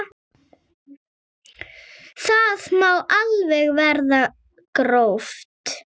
Það má alveg vera gróft.